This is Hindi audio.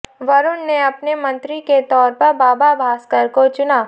वरुण ने अपने मंत्री के तौर पर बाबा भास्कर को चुना